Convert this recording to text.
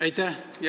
Aitäh!